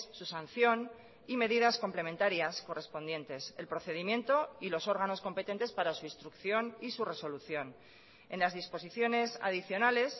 su sanción y medidas complementarias correspondientes el procedimiento y los órganos competentes para su instrucción y su resolución en las disposiciones adicionales